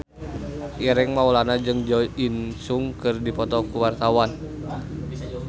Ireng Maulana jeung Jo In Sung keur dipoto ku wartawan